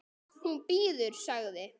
Hún bíður, sagði